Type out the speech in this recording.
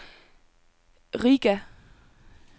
Riga